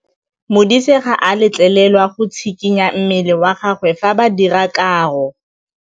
Modise ga a letlelelwa go tshikinya mmele wa gagwe fa ba dira karô.